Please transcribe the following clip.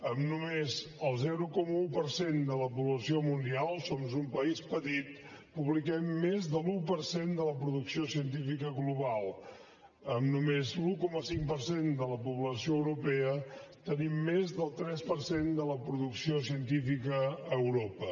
amb només el zero coma un per cent de la població mundial som un país petit publiquem més de l’un per cent de la producció científica global amb només l’un coma cinc per cent de la població europea tenim més del tres per cent de la producció científica a europa